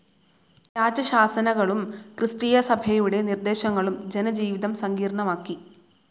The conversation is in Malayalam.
രാജശാസനകളും ക്രിസ്തീയസഭയുടെ നിർദ്ദേശങ്ങളും ജനജീവിതം സങ്കീർണ്ണമാക്കി.